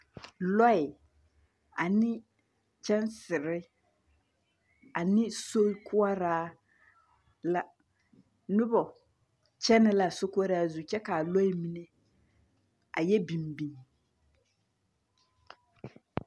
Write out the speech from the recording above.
Lͻԑ ane kyԑnsere ane sokoͻraa la. Noba kyԑnԑ la a sokoͻraa kyԑ ka a lͻԑ mine a yԑ biŋ biŋ.